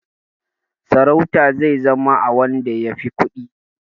Sarauta zai zama na wanda ya fi kuɗi.